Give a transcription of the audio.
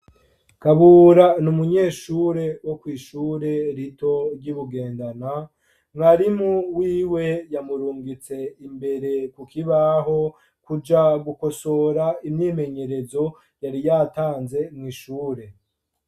Kabura ni umunyeshure wo kw'ishure rito ry'Ibugendana, mwarimu wiwe yamurungitse imbere, kuja gukosora umwimenyerezo yari yatanze kw'ishure.